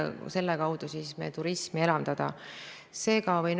EAS-i ettevõtjate toetuste maht on suurenenud, mitte vähenenud, ja seda 7,1 miljoni võrra.